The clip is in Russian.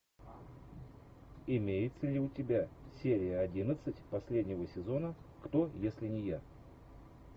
имеется ли у тебя серия одиннадцать последнего сезона кто если не я